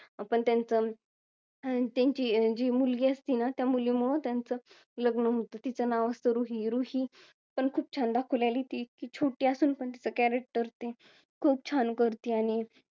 पण त्याचं अं त्यांची जी मुलगी असती ना त्या मुलींमूळ त्याचं लग्न होत तिचं नाव असतं रुही आणि रुही पण खूप छान दाखवलेला आहे ती छोटी असून पण तिचा character ते खूप छान करते आणि